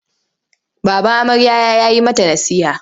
Baban amarya ya yi mata nasiha.